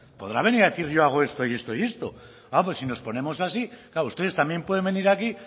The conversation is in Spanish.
podrá venir a decir yo hago esto y esto y esto a pues si nos ponemos así claro ustedes también pueden venir aquí